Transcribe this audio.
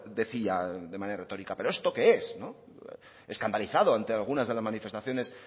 decía de manera retórica pero esto qué es escandalizado ante algunas de las manifestaciones